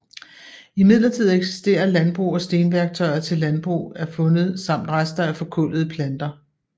Imidlertid eksisterer landbrug og stenværktøjer til landbrug er fundet samt rester af forkullede planter